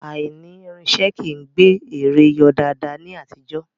Aìní irinṣẹ́ kìí gbé eré yọ daadaa ní àtijọ́